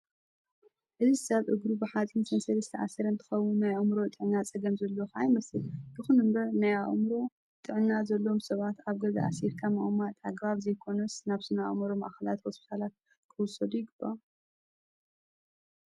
እዚ ሰብ እግሩ ብሓፀን ሰንሰል ዝተኣሰረ እንትኸውን ናይ ኣዕምሮ ጥዕና ፀገም ዘለዎ ከዓ ይመስን። ይኹን እምበር ናይ ኣዕምሮ ጥዕና ዘለዎም ሰባት ኣብ ገዛ ኣሲርካ ምቅማጥ ኣግባብ ዘይኾነስ ናብ ስነ ኣዕምሮ ማእከላትን ሆስፒታላትን ክውሰዱ ይግባእ።